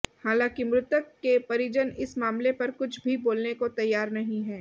हालांकि मृतक के परिजन इस मामले पर कुछ भी बोलने को तैयार नहीं है